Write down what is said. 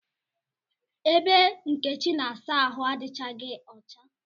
Ebe Nkechi na-asa ahụ adighi ọcha